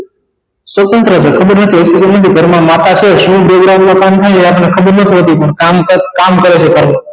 સ્વતંત્ર છે ખબર નથી કે ઘર માં માતા છે એ ઘર માં શું કામ થાય ખબર ના પડવા દે પણ કામકાજ કામ કરે છે